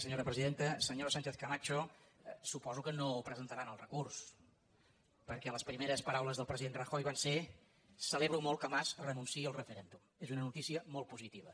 senyora sánchezcamacho suposo que no presentaran el recurs perquè les primeres paraules del president rajoy van ser celebro molt que mas renunciï al referèndum és una notícia molt positiva